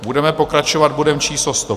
Budeme pokračovat bodem číslo